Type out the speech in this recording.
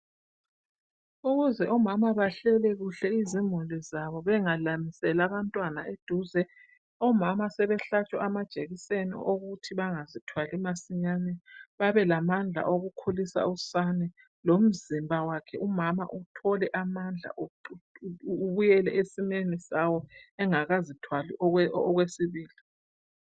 Ukuze omama bahlele kuhle izimhuli zabo ,bengalamiseli abantwana eduze .Omama sebehlatshwa amajekiseni okuthi bangazithwali masinyane ,babelamandla okukhulisa usane. Lomzimba wakhe umama uthole amandla ubuyele esimeni sawo engakazithwali okwesibili.